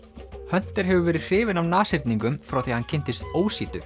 hunter hefur verið hrifinn af frá því að hann kynntist